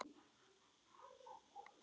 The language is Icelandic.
Katrín Klara.